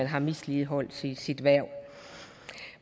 har misligholdt sit hverv